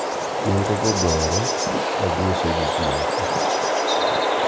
negogoyore ka giuso gikmoko